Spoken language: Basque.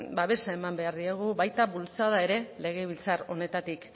babesa eman behar diegu baita bultzada ere legebiltzar honetatik